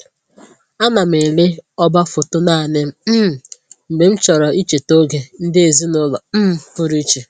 Ana m ele ọba foto naanị m um mgbe m chọrọ icheta oge ndị ezinụlọ um pụrụ iche